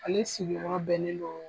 Ale sigiyɔrɔ bɛnnen do.